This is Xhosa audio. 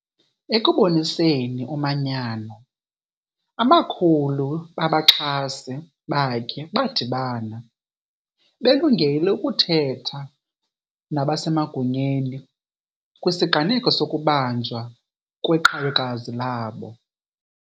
Ekuboniseni umanyano, amakhulu babaxhasi bakhe badibana, belungele ukuthetha nabasemagunyeni kwisiganeko sokubanjwa kweqhawekazi labo.